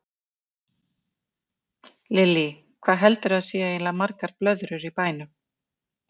Lillý: Hvað heldurðu að séu eiginlega margar blöðrur í bænum?